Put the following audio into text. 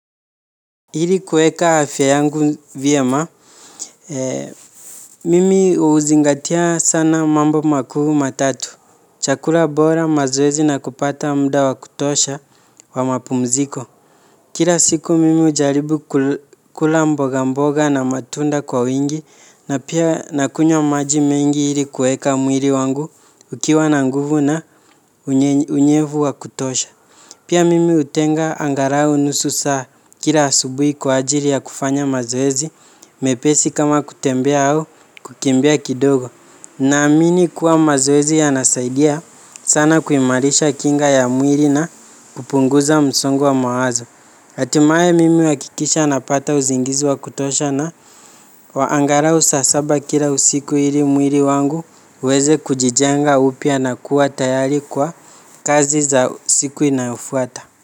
Ili kueka afya yangu vyema mimi uzingatia sana mambo makuu matatu. Chakula bora mazoezi na kupata mda wa kutosha wa mapumziko kira siku mimi ujaribu kula mboga mboga na matunda kwa wingi na pia nakunywa maji mingi iri kueka mwiri wangu ukiwa na nguvu na unyevu wa kutosha. Pia mimi utenga angarau nusu saa kila asubui kwa ajiri ya kufanya mazoezi mepesi kama kutembea au kukimbia kidogo. Naamini kuwa mazoezi ya nasaidia sana kuimarisha kinga ya mwiri na kupunguza msongo wa mawazo. Hatimaye mimi uakikisha napata uzingizi wakutosha na wa angarau saa saba kila usiku iri mwiri wangu uweze kujijenga upya na kuwa tayari kwa kazi za siku inayofuata.